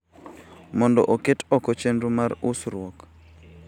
mondo oket oko chenro mar usruok.